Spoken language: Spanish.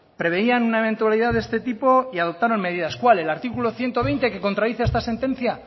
prevenían una eventualidad de este tipo y adoptaron medidas cuál el artículo ciento veinte que contradice esta sentencia